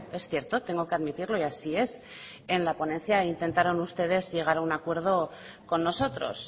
es cierto tengo que admitirlo y así es en la ponencia intentaron ustedes llegar a un acuerdo con nosotros